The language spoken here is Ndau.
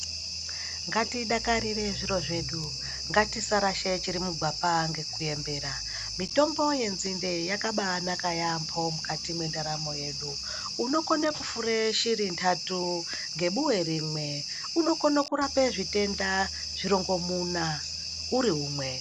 Ngatidakarire zviro zvedu ngatudarasha chiri mugwapa nekuembera mitombo yenzinde yakabanaka yambo mukati yendarano yedu unokona iri ndatu nebuwebrimwe unokona kurapa zvitenda zvirongomuna zviri imwe.